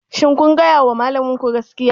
Shin kun gaya wa malaminku gaskiya?